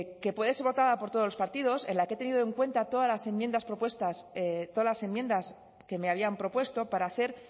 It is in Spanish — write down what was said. que puede ser votada por todos los partidos en la que he tenido en cuenta todas las enmiendas propuestas todas las enmiendas que me habían propuesto para hacer